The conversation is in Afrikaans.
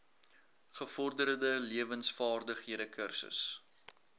gevorderde lewensvaardighede kursus